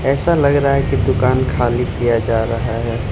ऐसा लग रहा है की दुकान खाली किया जा रहा है।